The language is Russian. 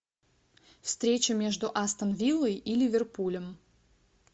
встреча между астон виллой и ливерпулем